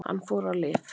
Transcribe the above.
Hann fór á lyf.